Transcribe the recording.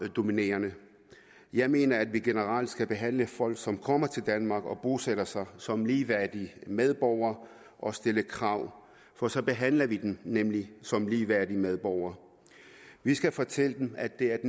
dominerende jeg mener at vi generelt skal behandle folk som kommer til danmark og bosætter sig som ligeværdige medborgere og stille krav for så behandler vi dem nemlig som ligeværdige medborgere vi skal fortælle dem at det er